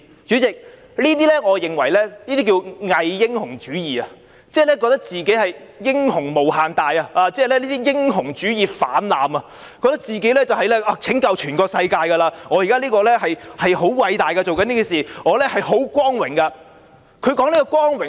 主席，我認為這可稱之為偽英雄主義，即以為自己是英雄無限大，英雄主義泛濫，以為自己在拯救全世界，現時所做的事十分偉大，感到很光榮。